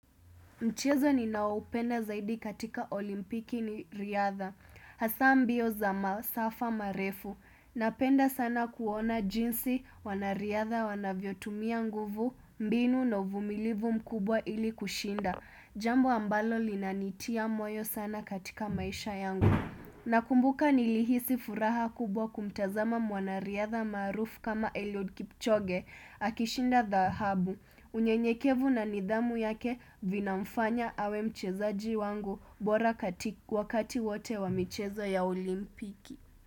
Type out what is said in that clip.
Mchezo ninaoupenda zaidi katika olimpiki ni riadha, hasa mbio za masafa marefu, napenda sana kuona jinsi wanariadha wanavyotumia nguvu, mbinu no vumilivu mkubwa ili kushinda, jambo ambalo linanitia moyo sana katika maisha yangu. Nakumbuka nilihisi furaha kubwa kumtazama mwanariadha maarufu kama Eliud Kipchoge akishinda dhahabu. Unyenyekevu na nidhamu yake vinamfanya awe mchezaji wangu bora wakati wote wa michezo ya olimpiki.